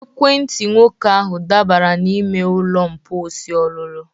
Ekwentị nwoke ahụ dabara n'ime ụlọ mposi olulu